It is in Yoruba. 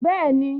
Bẹ́ẹ̀ni